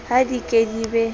ha di ke di be